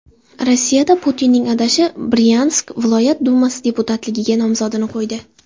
Rossiyada Putinning adashi Bryansk viloyat dumasi deputatligiga nomzodini qo‘ydi.